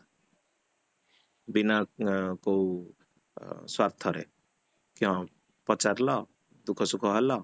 ବିନା କୋଉ ସ୍ୱାର୍ଥ ରେ, କି ହଁ ପଚାରିଲା, ଦୁଃଖ ସୁଖ ହେଲ